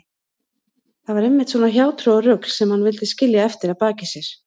Það var einmitt svona hjátrúarrugl sem hann vildi skilja eftir að baki sér.